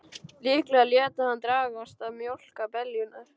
Líklega léti hann dragast að mjólka beljurnar.